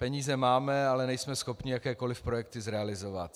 Peníze máme, ale nejsme schopni jakékoliv projekty zrealizovat.